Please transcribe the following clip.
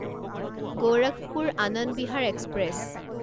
Gorakhpur Anand Vihar express